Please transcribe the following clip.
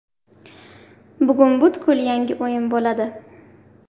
Bugun butkul yangi o‘yin bo‘ladi.